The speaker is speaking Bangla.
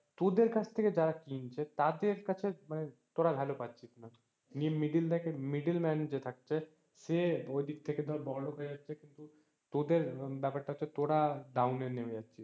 তোদের কাছ থেকে যারা কিনছে তাদের কাছে তোরা value পাচ্ছিস না, middle man যে থাকছে সে ওই দিক থেকে ধর বড়লোক হয়ে যাচ্ছে কিন্তু তোদের ব্যাপার টা হচ্ছে তোরা down এ নেবে যাচ্ছিস।